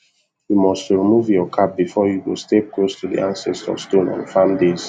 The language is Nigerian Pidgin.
you must to remove your cap before you go step close to the ancestor stone on farm days